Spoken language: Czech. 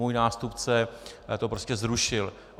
Můj nástupce to prostě zrušil.